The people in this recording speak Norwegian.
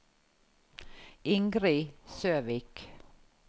Ingrid Søvik